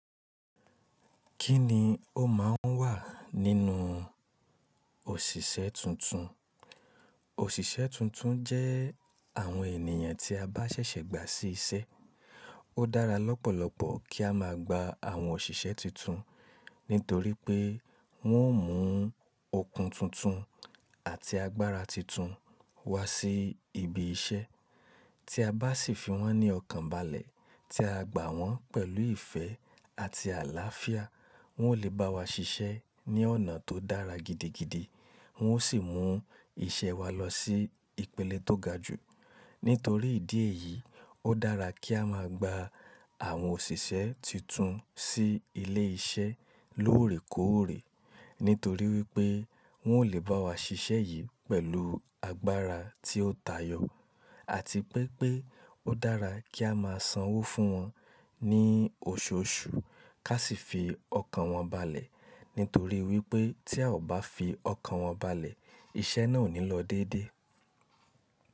Kí ni ó ma ń wà nínú òṣìṣẹ́ tuntun? Òṣìṣẹ́ tuntun jẹ́ àwọn ènìyàn tí a bá ṣẹ̀ṣẹ̀ gba sí iṣẹ́. Ó dára lọ́pọ̀lọpọ̀ kí a má a gba àwọn òṣìṣẹ́ tuntun, nítorí pé wọ́n ó mú okun tuntun àti agbára tuntun wá sí ibi iṣẹ́. Tí a bá sì fi wọ́n ní ọkàn balẹ̀, tí a gbà wọ́n pẹ̀lú ìfẹ́ àti àlàáfíà, wọn ó lè bá wa ṣiṣẹ́ ní ọ̀nà tó dára gidigidi, wọn ó sì mú iṣẹ́ wa lọ sí ìpele tó ga jù. Nítorí ìdí èyí, ó dára kí a máa gba àwọn òṣìṣẹ́ tuntun sí ilé iṣẹ́ lóòrèkóòrè, nítorí wípé wọn ó lè bá wa ṣiṣẹ́ yìí pẹ̀lú agbára tí ó tàyọ́, àti pé pé ó dára kí a máa sanwó fún wọn ní oṣooṣù, ká sì fi ọkàn wọn balẹ̀, nítorí wípé tí a ò bá fi ọkàn wọn balẹ̀, iṣẹ́ náà ò ní lọ dédé.